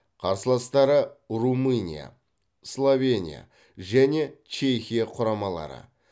қарсыластары румыния словения және чехия құрамалары